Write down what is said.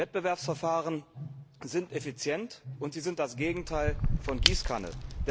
Wettbewerbsverfahren sind effizient, und sie sind das Gegenteil von Gießkanne.